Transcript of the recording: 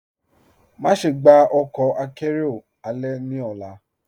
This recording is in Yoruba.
Máṣẹ̀ gbà ọkọ àkẹ̀rẹo alẹ̀ ní ọ̀là.